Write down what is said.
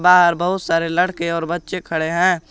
यहां बहुत सारे लड़के और बच्चे खड़े हैं।